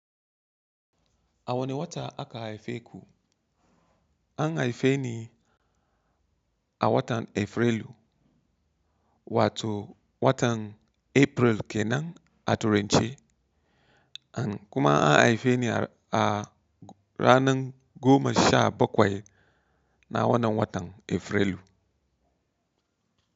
A wane wata aka haife ku? An haife ni a watan Afrilu, wato watan April kenan a turance. Kuma an haife ni a ranar goma sha bakwai na wannan watan Afrilu.